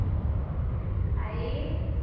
आई.